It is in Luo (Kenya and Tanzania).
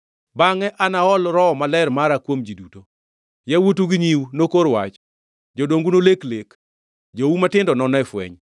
“Bangʼe, anaol Roho Maler mara kuom ji duto. Yawuotu gi nyiu nokor wach, jodongu nolek lek, jou matindo none fweny.